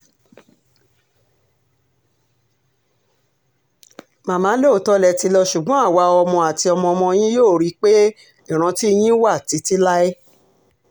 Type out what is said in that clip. màmá lóòótọ́ lẹ ti lọ ṣùgbọ́n àwa ọmọ àti ọmọọmọ yín yóò rí i pé ìrántí yín wà títí láé